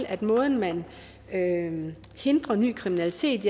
at måden man hindrer ny kriminalitet